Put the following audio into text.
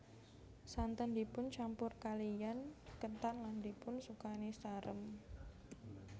Santen dipun campur kaliyan ketan lan dipun sukani sarem